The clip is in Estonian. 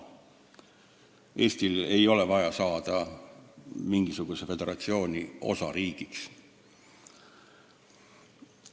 Eestil ei ole vaja saada mingisuguse föderatsiooni osariigiks.